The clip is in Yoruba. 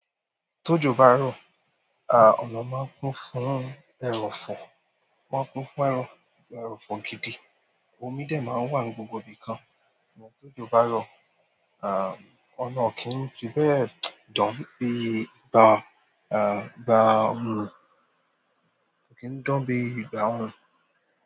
Tójo bá rọ̀, à, ọ̀nà máa ń kún fún ẹrọ̀fọ̀, wọ́n kún fún ẹrọ̀fọ̀ gidi. Omi dè máa ń wà ní gbogbo ibìkan, ìwọ́n tójo bá rọ̀, à, ọ̀nà kì í fi bẹ́ẹ̀ dán bí ìgbà, à, ìgbà orun, kò kí ń dán bí ìgbà orun.